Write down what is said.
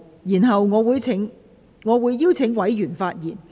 然後，我會請委員發言。